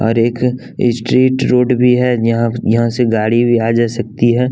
और एक street road भी है यहाँ यहाँ से गाड़ी भी आ जा सकती है।